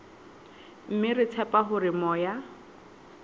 mme re tshepa hore moya